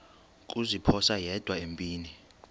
kuziphosa yedwa empini